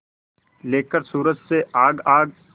लेकर सूरज से आग आग